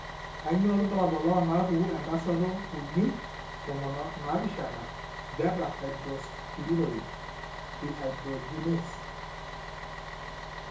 Kainyio irbulabul onaapuku entasato uni tomon onaapishana beta hydroxysteroid dehydrogenase?